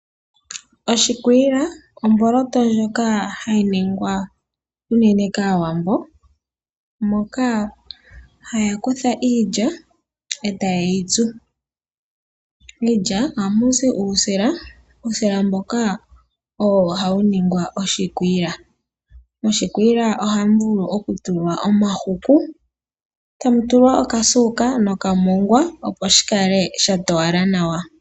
Oshikwiila omboloto ndjoka hayi ningwa unene kaawambo Moka haya kutha iilya etayeyitsu. Miilya ohamuzi uusila, uusila mboka owo hawu ningi oshikwiila .moshikwiila ohamu tulwa omahuku tamutulwa okasuuka nokamongwa opo shikale sha towala nawa.